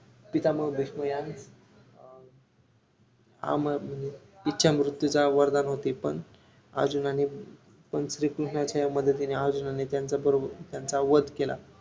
पितामह भीष्म यास आमरण इच्यामृत्यूचा वरदान होते पण अर्जुनाने पण श्रीकृष्णाच्या मदतीने अर्जुनाने त्यांच्या करून त्यांचा वध केला